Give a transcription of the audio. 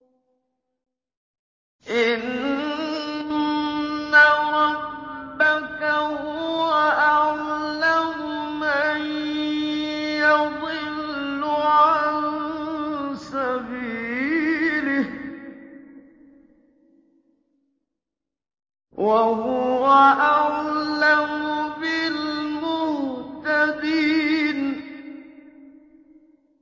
إِنَّ رَبَّكَ هُوَ أَعْلَمُ مَن يَضِلُّ عَن سَبِيلِهِ ۖ وَهُوَ أَعْلَمُ بِالْمُهْتَدِينَ